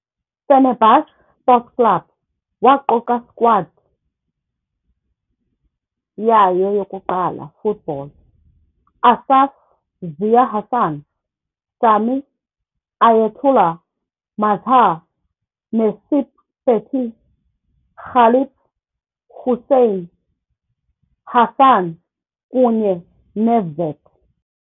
Fenerbahce Sports Club waquka squad yayo yokuqala football Asaf, Ziya Hasan, Sami, Ayatelluh, Mazhar, Necip Fethi, Galip, Huseyin, Hasan kunye Nevzat.